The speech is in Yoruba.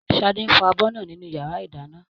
Ṣadé ń fọ abọ́ náà nínú yàrá ìdáná